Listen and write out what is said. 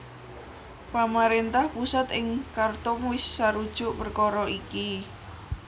Pamaréntah pusat ing Khartoum wis sarujuk perkara iki